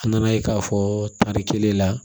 An nana ye k'a fɔ tari kelen la